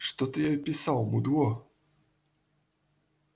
что ты ей писал мудло